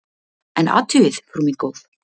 En athugið, frú mín góð!